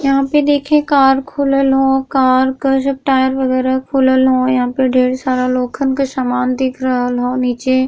यहाँँ पे देखे कार खुलल ह। कार का जो टायर वगेरा खुलल हो। यहाँँ पे ढ़ेर सारा लोखन के सामना दिख रहल हो नीचे --